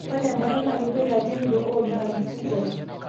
ore embaata na keboita olchanitoo oji antifungal.